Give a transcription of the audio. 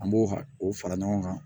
An b'o o fara ɲɔgɔn kan